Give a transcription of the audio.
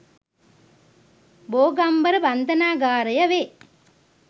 බෝගම්බර බන්ධනාගාරය වේ.